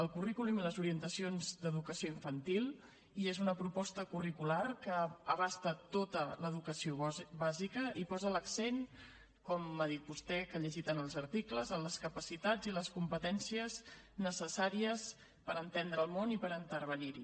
el currículum i les orientacions d’educació infantil i és una proposta curricular que abasta tota l’educació bàsica i posa l’accent com ha dit vostè que ha llegit en els articles en les capacitats i les competències necessàries per entendre el món i per intervenir hi